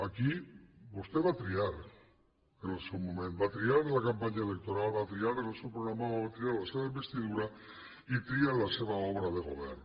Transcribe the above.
aquí vostè va triar en el seu moment va triar en la campanya electoral va triar en el seu programa va triar en la seva investidura i tria en la seva obra de govern